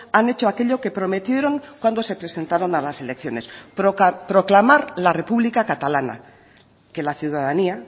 han hecho aquello que prometieron cuando se presentaron a las elecciones proclamar la república catalana que la ciudadanía